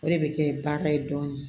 O de bɛ kɛ bagan ye dɔɔnin